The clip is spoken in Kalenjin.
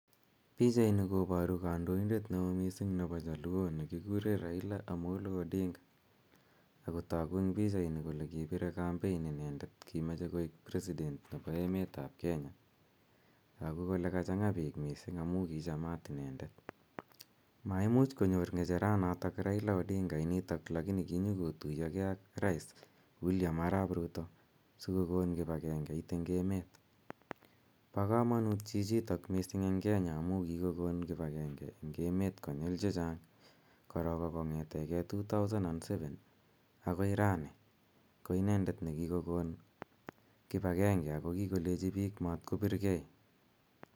Pichaini koparu kandoindet ne oo missing' nepo jaluo ne kikure Raila Amolo Odinga. Ako tagu eng' pichaini kole kipire kampein inendet, kimache koek president nepo emet ap Kenya. Tagu kole kachang'a piik missing' amu kichamat inendet. Maimuch konyor ng'echaranotok Raila Odinga init lakini kinyukotuyogei ak rais William Arap Ruto si kokon kip agengeit eng' emet. Pa kamanut chchitok amu missing' eng' Kenya amu kikon kip agenge eng' emet konyil che chang'.